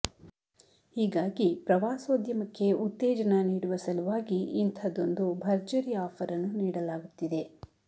ಹೀಗಾಗಿ ಪ್ರವಾಸೋದ್ಯಮಕ್ಕೆ ಉತ್ತೇಜನ ನೀಡುವ ಸಲುವಾಗಿ ಇಂಥದ್ದೊಂದು ಭರ್ಜರಿ ಆಫರ್ ಅನ್ನು ನೀಡಲಾಗುತ್ತಿದೆ